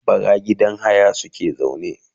bara gidan haya suke zaune